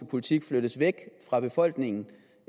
politik flyttes væk fra befolkningen